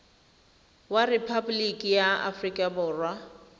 wa rephaboliki ya aforika borwa